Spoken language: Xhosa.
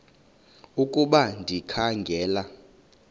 ukuba ndikha ngela